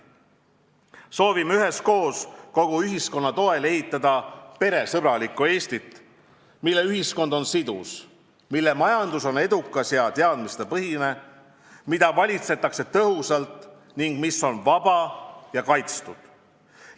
Soovime üheskoos, kogu ühiskonna toel ehitada peresõbralikku Eestit, mille ühiskond on sidus, mille majandus on edukas ja teadmistepõhine, mida valitsetakse tõhusalt ning mis on vaba ja kaitstud.